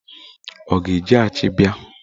Ọ ga-eji achi bịa?